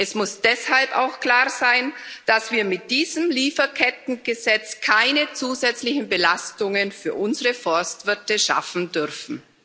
Es muss deshalb auch klar sein, dass wir mit diesem Lieferkettengesetz keine zusätzlichen Belastungen für unsere Forstwirte schaffen dürfen.